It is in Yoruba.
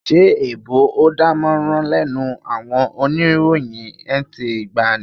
Ṣé èèbò ò dánmọ́rán lẹ́nu àwọn oníròyìn NTA ìgbàanì?